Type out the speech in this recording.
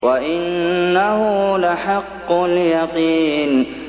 وَإِنَّهُ لَحَقُّ الْيَقِينِ